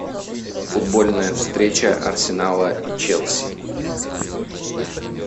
футбольная встреча арсенала и челси